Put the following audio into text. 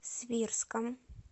свирском